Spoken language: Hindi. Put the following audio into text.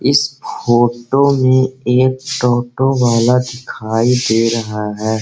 इस फोटो में एक टोटो वाला दिखाई दे रहा है।